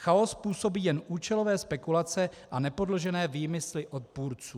Chaos způsobí jen účelové spekulace a nepodložené výmysly odpůrců.